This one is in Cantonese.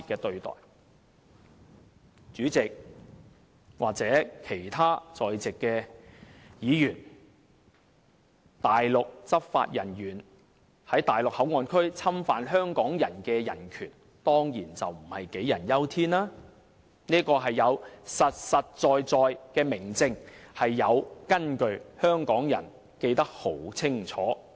代理主席或其他在席的議員，內地執法人員在內地口岸區侵犯香港人的人權，當然不是杞人憂天，而是有實實在在的明證，是有根據的，香港人記得十分清楚。